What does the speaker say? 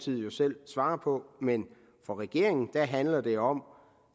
jo selv svare på men for regeringen handler det om